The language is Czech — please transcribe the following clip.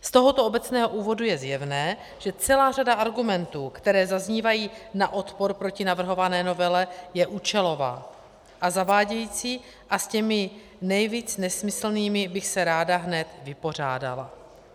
Z tohoto obecného úvodu je zjevné, že celá řada argumentů, které zaznívají na odpor proti navrhované novele, je účelová a zavádějící a s těmi nejvíc nesmyslnými bych se ráda hned vypořádala.